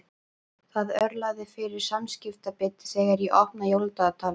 Það örlar fyrir samviskubiti þegar ég opna jóladagatalið.